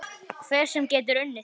Hver sem er getur unnið.